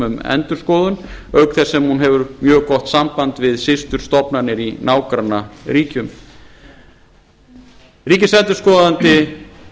um endurskoðun auk þess sem hún hefur mjög gott samband við systurstofnanir í nágrannaríkjum ríkisendurskoðandi